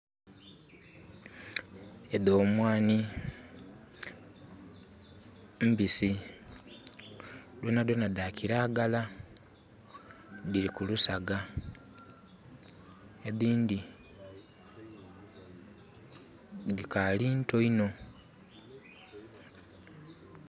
Edho mwanhi. Mbisi, dhona dhona dha kiragala, dhili kulusaga. Edhindhi dhikaali nto inho.